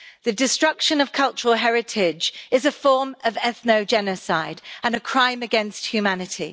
The destruction of cultural heritage is a form of ethno-genocide and a crime against humanity.